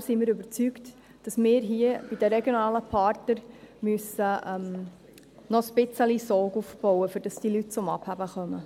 Deshalb sind wir überzeugt, dass wir hier bei den regionalen Partnern noch ein wenig Sog aufbauen müssen, damit diese Leute zum Abheben kommen.